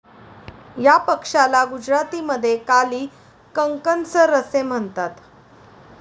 या पक्ष्याला गुजरातीमध्ये काली कंकणसर असे म्हणतात.